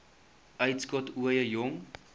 uitskot ooie jong